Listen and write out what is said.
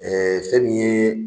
Ɛɛ fɛn min ye